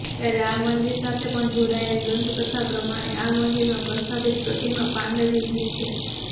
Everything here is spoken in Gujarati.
ત્યારે આ મંદિર સાથે પણ જોડાયેલ દંતકથા પ્રમાણે આ મંદિરમાં પ્રસ્થાપિત પ્રતિમા પાંડવ યુગની છે